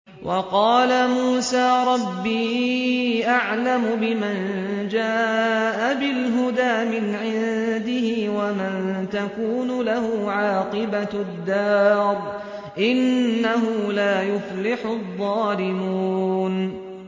وَقَالَ مُوسَىٰ رَبِّي أَعْلَمُ بِمَن جَاءَ بِالْهُدَىٰ مِنْ عِندِهِ وَمَن تَكُونُ لَهُ عَاقِبَةُ الدَّارِ ۖ إِنَّهُ لَا يُفْلِحُ الظَّالِمُونَ